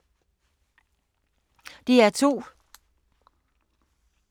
DR2